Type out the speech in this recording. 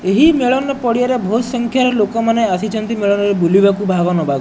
ଏହି ମେଳନ ପଡ଼ିଆରେ ବହୁତ ସଂଖ୍ୟାରେ ଲୋକମାନେ ଆସିଛନ୍ତି। ମେଳନରେ ବୁଲିବାକୁ ଭାଗ ନବାକୁ।